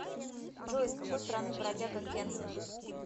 джой из какой страны бродяга кенсин